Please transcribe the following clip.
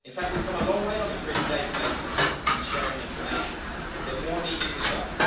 In fact we have come a long way on improving databases and sharing information, but more needs to be done.